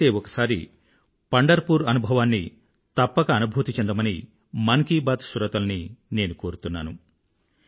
వీలైతే ఒకసారి పండర్పూర్ వారీ అనుభవాన్ని తప్పక అనుభూతి చెందమని మన్ కీ బాత్ శ్రోతలని నేను కోరుతున్నాను